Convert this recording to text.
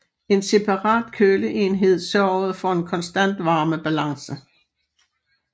En separat køleenhed sørgede for en konstant varmebalance